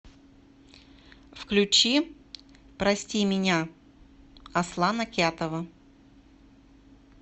включи прости меня аслана кятова